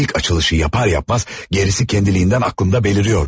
İlk açılışı yapar yapmaz, gerisi kendiliğinden aklımda bəlirirdi.